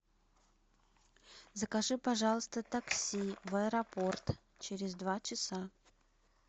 закажи пожалуйста такси в аэропорт через два часа